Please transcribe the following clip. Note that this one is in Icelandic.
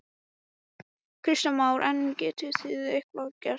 Kristján Már: En getið þið eitthvað gert?